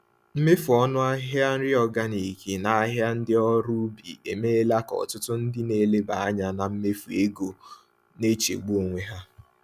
Mmefu ọnụ ahịa nri organic n’ahịa ndị ọrụ ubi emeela ka ọtụtụ ndị na-eleba anya na mmefu ego na-echegbu onwe ha.